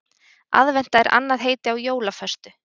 Aðventa er annað heiti á jólaföstu.